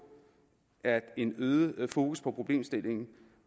at en øget fokus på problemstillingen